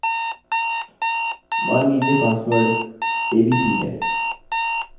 मान लीजिए password abc है